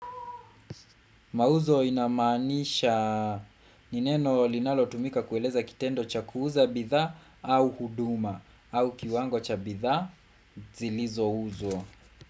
Mauzo inamanisha ni neno linalo tumika kueleza kitendo cha kuuza bidhaa au huduma au kiwango cha bidhaa zilizouzwa.